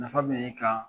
Nafa bɛ ne kan